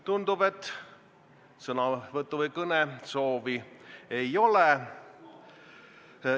Tundub, et sõnavõtu- või kõnesoovi ei ole.